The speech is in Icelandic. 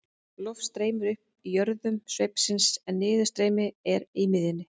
Loft streymir upp í jöðrum sveipsins en niðurstreymi er í miðjunni.